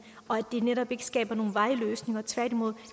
og at det netop ikke skaber nogen varige løsninger tværtimod